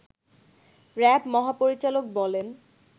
RAB মহাপরিচালক বলেন